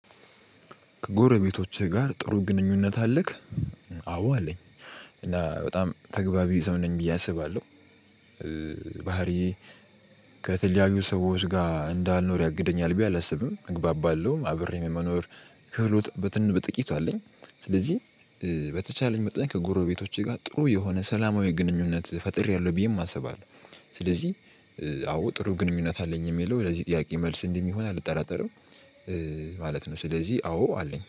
ከጎረቤቶችህ ጋር ጥሩ ግንኙነት አለክ? አዎ አለኝ። እና በጣም ተግቢቢ ሰው ነኝ ብዬ አስባለሁ። ባህሪያዪ ከተለያዩ ሰዎች ጋር እንዳልኖር ያግደኛል ብየ አላስብም። እግባባለሁ። አብሬም የመኖር ክህሎት በጥቂቱ አለኝ። ስለዚህ በተቻለኝ መጠን ከጎረቤቶቸ ጋር ጥሩ የሆነ ሰላማዊ ግንኙነት ፈጥሬያለሁ ብየም አስባለሁ። ስለዚህ አዎ ጥሩ ግንኙነት አለኝ የሚለው ለዚህ ጥያቄ መልስ እንደሚሆን አልጠራጠርም። ማለት ነው። ስለዚህ አዎ አለኝ።